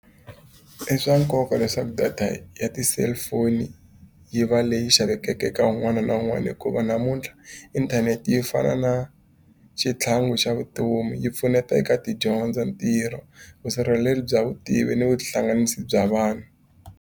I swa nkoka leswaku data ya ti-cellphone-i yi va leyi xavekaka eka un'wana na un'wana hikuva, namuntlha inthanete yi fana na xitlhangu xa vutomi. Yi pfuneta eka tidyondzo, ntirho, vusirheleri bya vutivi ni vuhlanganisi bya vanhu.